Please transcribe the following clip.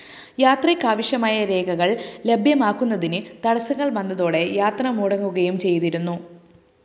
യാത്രയ്ക്കാവശ്യമായ രേഖകള്‍ ലഭ്യമാക്കുന്നതിന് തടസ്സങ്ങള്‍ വന്നതോടെ യാത്ര മുടങ്ങുകയും ചെയ്തിരുന്നു